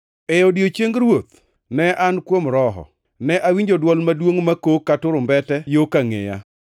E odiechieng Ruoth, ne an kuom Roho, ne awinjo dwol maduongʼ makok ka turumbete yo kangʼeya.